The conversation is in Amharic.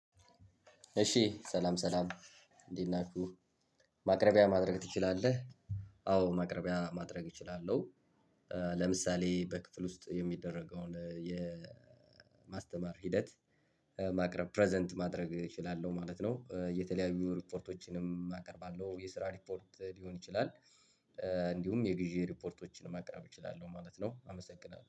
እሺ ሰላም ሰላም እንዴት ናችሁ ማቅረቢያ ማድረግ ትችላለህ? አዎ ማቅረቢያ ማድረግ እችላለሁ። ለምሳሌ በክፍል ውስጥ የሚደረገውን የማስተማር ሂደት። ማቅረብ ፕረዘንት ማድረግ እችላለሁ ማለት ነው። የተለያዩ ሪፖርቶችንም አቀርባለሁ የስራ ሪፖርት ሊሆን ይችላል። እንዲሁም የጊዜ ሪፖርቶችን ማቅረብ እችላለሁ ማለት ነው። አመሰግናለሁ